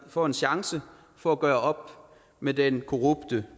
får en chance for at gøre op med den korrupte